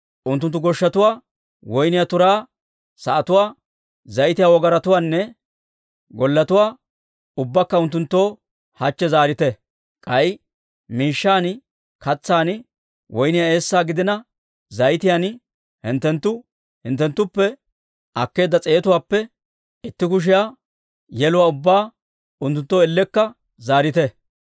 Unttunttu goshshatuwaa, woyniyaa turaa sa'atuwaa, zayitiyaa wogaratuwaanne golletuwaa ubbaakka unttunttoo hachche zaarite. K'ay miishshan, katsaan, woyniyaa eessan gidina zayitiyaan, hinttenttu unttunttuppe akkeedda s'eetuwaappe itti kushiyaa yeluwaa ubbaa unttunttoo ellekka zaarite».